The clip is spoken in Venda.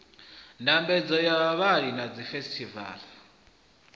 ndambedzo ya vhaṅwali na dzifesitivala